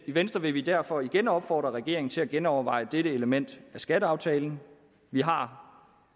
venstre vil vi derfor igen opfordre regeringen til at genoverveje dette element af skatteaftalen vi har